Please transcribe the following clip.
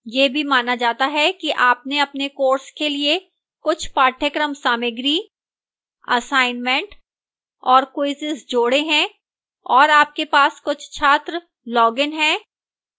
यह भी माना जाता है कि आपने अपने course के लिए कुछ पाठ्यक्रम सामग्री assignments और quizzes जोड़े हैं और आपके पास कुछ छात्र logins हैं